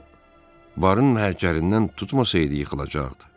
O barın hərkərindən tutmasaydı yıxılacaqdı.